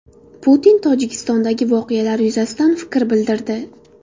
Putin Tojikistondagi voqealar yuzasidan fikr bildirdi.